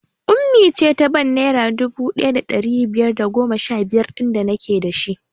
Ummi ce ta bank naira dubu ɗaya da ɗari biyar da goma sha biyar ɗin da nake dashi